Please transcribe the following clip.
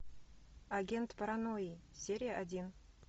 агент паранойи серия один